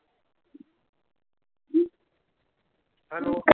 Hello